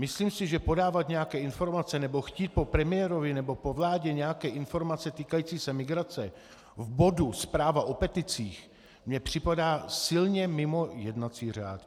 Myslím si, že podávat nějaké informace nebo chtít po premiérovi nebo po vládě nějaké informace týkající se migrace v bodu zpráva o peticích mně připadá silně mimo jednací řád.